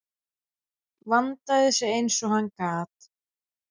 Vandaði sig eins og hann gat.